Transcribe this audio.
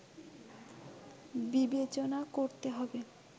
বিবেচনা করতে হবে